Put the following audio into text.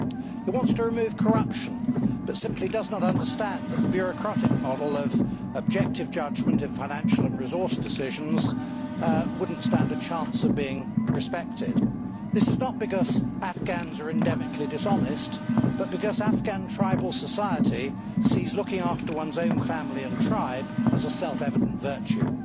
It wants to remove corruption but simply does not understand that the bureaucratic model of objective judgment and financial and resource decisions would not stand a chance of being respected. This is not because Afghans are endemically dishonest but because Afghan tribal society sees looking after one's own family and tribe as a self evident virtue.